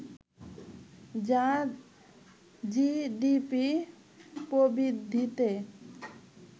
যা জিডিপি প্রবৃদ্ধিতে